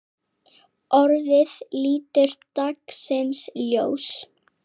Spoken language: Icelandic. ORÐIÐ lítur dagsins ljós.